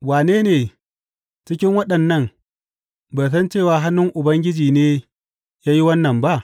Wane ne cikin waɗannan bai san cewa hannun Ubangiji ne ya yi wannan ba?